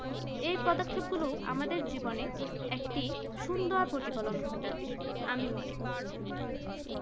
এই পদক্ষেপ গুলো আমাদের জীবনে একটি সুন্দর প্রতিফলন ঘটাতে আমি মনে করি